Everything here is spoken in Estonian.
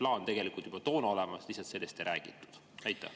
Või oli see plaan juba toona olemas, sellest lihtsalt ei räägitud?